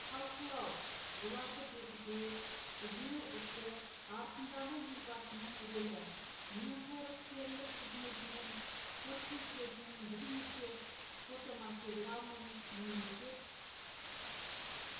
талқылау оларды бекіту үдерісі барысындағы елбасының рөлі менқайраткерлік қызметінен сыр шертетін бірнеше фотоматериал мен мемлекет